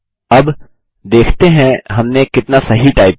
अब देखते हैं हमने कितना सही टाइप किया